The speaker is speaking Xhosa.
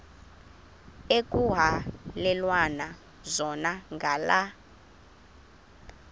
ekuhhalelwana zona ngala